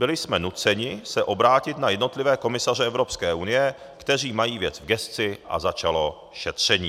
Byli jsme nuceni se obrátit na jednotlivé komisaře Evropské unie, kteří mají věc v gesci, a začalo šetření.